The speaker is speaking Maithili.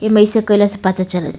इमें अइसे कैला से पता चला --